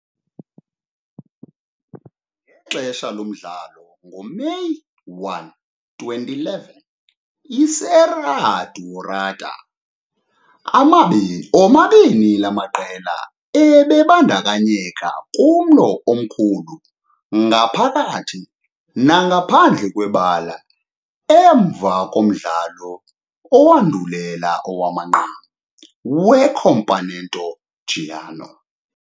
Ngexesha lomdlalo ngoMeyi 1, 2011 eSerra Dourada, omabini la maqela ebebandakanyeka kumlo omkhulu ngaphakathi nangaphandle kwebala emva komdlalo owandulela owamanqam weCampeonato Goiano.